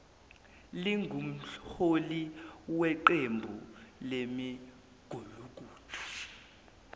lingumholi weqembu lemigulukudu